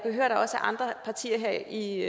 andre partier her i